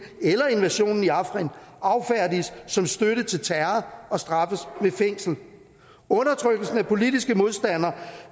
eller invasionen i afrin affærdiges som støtte til terror og straffes med fængsel undertrykkelsen af politiske modstandere